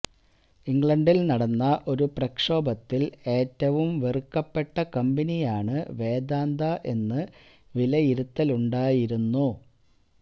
ഇംഗ്ലണ്ടില് നടന്ന ഒരു പ്രക്ഷോഭത്തില് ഏറ്റവും വെറുക്കപ്പെട്ട കമ്പനിയാണ് വേദാന്ത എന്ന് വിലയിരുത്തലുണ്ടായിരുന്നു